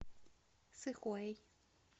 сыхуэй